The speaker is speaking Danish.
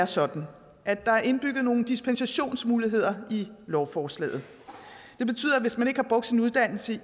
sådan at der er indbygget nogle dispensationsmuligheder i lovforslaget det betyder at hvis man ikke har brugt sin uddannelse i